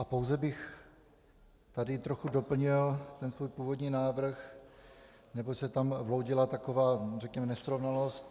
A pouze bych tady trochu doplnil ten svůj původní návrh, neboť se tam vloudila taková řekněme nesrovnalost.